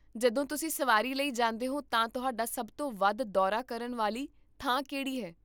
ਜਦੋਂ ਤੁਸੀਂ ਸਵਾਰੀ ਲਈ ਜਾਂਦੇ ਹੋ ਤਾਂ ਤੁਹਾਡਾ ਸਭ ਤੋਂ ਵੱਧ ਦੌਰਾ ਕਰਨ ਵਾਲੀ ਥਾਂ ਕਿਹੜੀ ਹੈ?